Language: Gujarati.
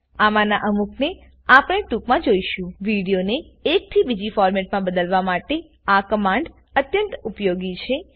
અમાના અમુકને આપને ટુકમાં જોઈશુંવિડીઓને એક થી બીજા ફોરમેટ માં બદલવા માટે આ કમાંડ અત્યંત ઉપયોગી છે